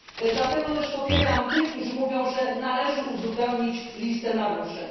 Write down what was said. Dlatego też popieram tych, którzy mówią, że należy uzupełnić listę naruszeń.